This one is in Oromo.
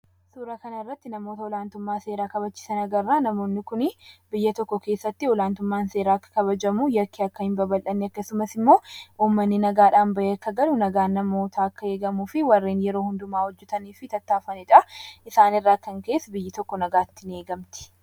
Suura kana irratti namoota olaantummaa seeraa kabachiisan agarra. Namoonni kun biyya tokko keessatti olaantummaan seeraa kabajamuu yakki akka hin babal'anne akkasumas immoo namoonni nagaadhaan bayee akka galu nagaan namootaa akka eegamufi warreen yeroo hundumaa hojjetaniifi tattaafatanidha. Isaan irraa kan ka'es biyyi tokko nagaatti in eegamti.